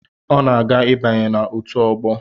Ọ na-aga ịbanye na otu ọgbọ.